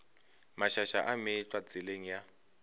mašaša a meetlwa tseleng ya